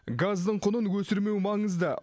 газдың құнын өсірмеу маңызды